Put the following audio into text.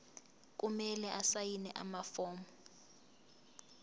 kumele asayine amafomu